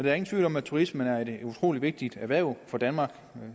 er ingen tvivl om at turismen er et utrolig vigtigt erhverv for danmark